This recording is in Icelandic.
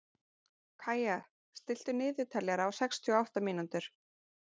Kaía, stilltu niðurteljara á sextíu og átta mínútur.